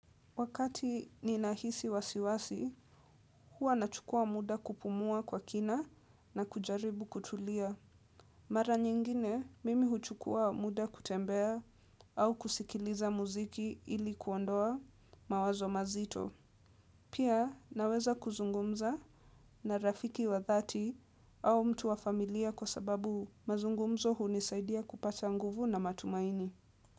Wakati ninahisi wasiwasi, huwa nachukua muda kupumua kwa kina na kujaribu kutulia. Mara nyingine, mimi huchukua muda kutembea au kusikiliza muziki ili kuondoa mawazo mazito. Pia naweza kuzungumza na rafiki wa dhati au mtu wa familia kwa sababu mazungumzo hunisaidia kupata nguvu na matumaini.